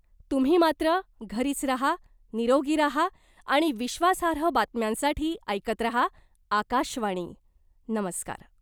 तुम्ही मात्र घरीच राहा , निरोगी राहा आणि विश्वासार्ह बातम्यांसाठी ऐकत रहा , आकाशवाणी , नमस्कार .